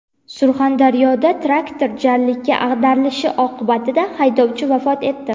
Surxondaryoda traktor jarlikka ag‘darilishi oqibatida haydovchi vafot etdi.